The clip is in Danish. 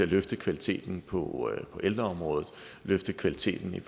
løfte kvaliteten på ældreområdet løfte kvaliteten